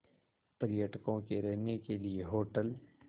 पर्यटकों के रहने के लिए होटल